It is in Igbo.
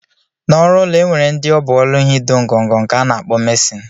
Na ọrụ ụlọ enwere ndi ọbụ ọlụ ha ido ngọngọ nke ana akpọ mason.